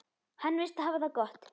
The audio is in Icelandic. Hann virðist hafa það gott.